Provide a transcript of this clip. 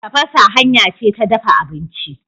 Tafasa hanya ce ta dafa abinci.